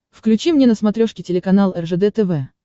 включи мне на смотрешке телеканал ржд тв